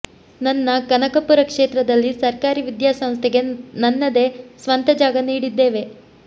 ನನ್ನ ಕನಕಪುರ ಕ್ಷೇತ್ರದಲ್ಲಿ ಸರ್ಕಾರಿ ವಿದ್ಯಾಸಂಸ್ಥೆಗೆ ನನ್ನದೇ ಸ್ವಂತ ಜಾಗ ನೀಡಿದ್ದೇವೆ